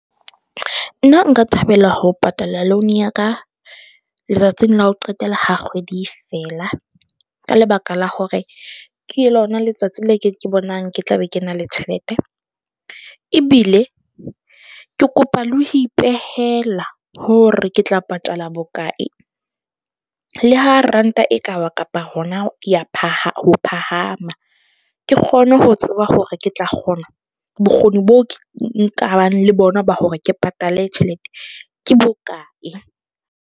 Nna nka thabela ho patala loan ya ka letsatsing la ho qetela ha kgwedi e fela, ka lebaka la hore ke lona letsatsi le ke bonang, ke tla be ke na le tjhelete. Ebile ke kopa le ho ipehela hore ke tla patala bokae. Le ha ranta e ka wa kapa hona ya ho phahama, ke kgone ho tseba hore ke tla kgona bokgoni bo nkabang le bona ba hore ke patale tjhelete ke bokae?